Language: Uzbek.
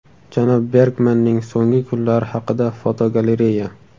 Janob Bergmanning so‘nggi kunlari haqida fotogalereya.